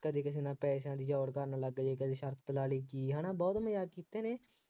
ਕਦੇ ਕਿਸੇ ਨਾਲ ਪੈਸਿਆ ਦੀ ਚੌੜ ਕਰਨ ਲੱਗ ਜਾਏ, ਕਦੇ ਸ਼ਰਤ ਲਾ ਲਾਈ ਕੀ ਹੈ ਨਾ ਬਹੁਤ ਮਜ਼ਾਕ ਕੀਤੇ ਨੇ,